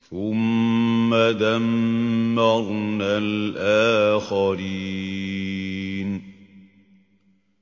ثُمَّ دَمَّرْنَا الْآخَرِينَ